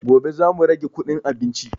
Gobe za mu rage kuɗin abinci